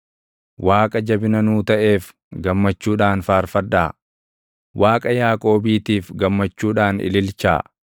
Waaqa jabina nuu taʼeef gammachuudhaan faarfadhaa; Waaqa Yaaqoobiitiif gammachuudhaan ililchaa!